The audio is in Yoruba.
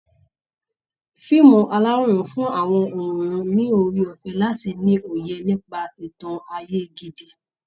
Fíìmù aláwòrán ń fún àwọn òǹwòran ní oore ọ̀fẹ́ láti ni òye nípa ìtàn ayé gidi